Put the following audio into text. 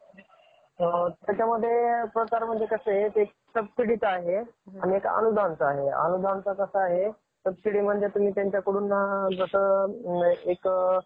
महाराष्ट्रामध्ये हा सण मोठ्या प्रमाणात साजरा केला जातो. दिवाळी, दिवाळी हा एक भारतामधील तसेच महारष्ट्रामधील साजरा केला जाणारा एक मख्य आणि,